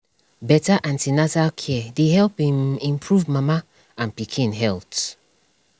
better an ten atal care dey help um improve mama and pikin health